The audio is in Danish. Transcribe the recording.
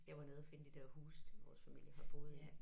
Jeg var nede og finde de der huse til vores familie har boet i